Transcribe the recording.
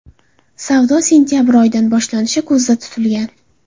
Savdo sentabr oyidan boshlanishi ko‘zda tutilgan.